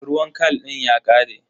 Ruwan khal din ya ƙare.